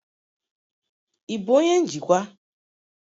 Ị bụ onye njikwa?